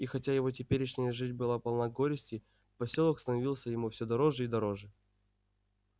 и хотя его теперешняя жизнь была полна горестей посёлок становился ему всё дороже и дороже